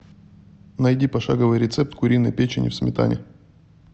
найди пошаговый рецепт куриной печени в сметане